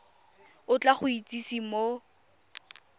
o tla go itsise mo